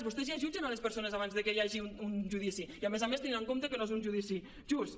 vostès ja jutgen les persones abans que hi hagi un judici i a més a més tenint en compte que no és un judici just